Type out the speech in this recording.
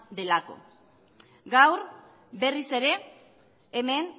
delako gaur berriz ere hemen